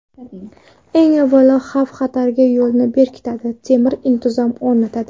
Eng avvalo, xavf-xatarning yo‘lini berkitadi, temir intizom o‘rnatadi.